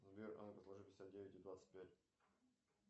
сбер а ну ка сложи пятьдесят девять и двадцать пять